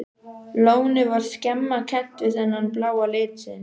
Lónið var snemma kennt við þennan bláa lit sinn.